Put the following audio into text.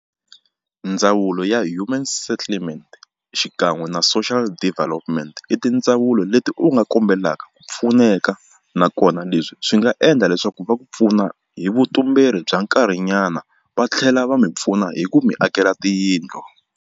Ndzawulo ya human settlement xikan'we na social development i tindzawulo leti u nga kombelaka ku pfuneka nakona leswi swi nga endla leswaku va ku pfuna hi vutumberi bya nkarhinyana va tlhela va mi pfuna hi ku mi akela tiyindlu.